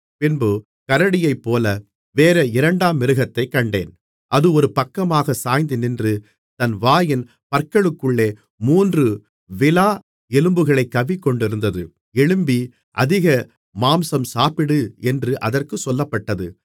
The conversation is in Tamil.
பின்பு கரடியைப் போல வேறே இரண்டாம் மிருகத்தைக் கண்டேன் அது ஒரு பக்கமாகச் சாய்ந்து நின்று தன் வாயின் பற்களுக்குள்ளே மூன்று விலா எலும்புகளைக் கவ்விக்கொண்டிருந்தது எழும்பி அதிக மாம்சம் சாப்பிடு என்று அதற்குச் சொல்லப்பட்டது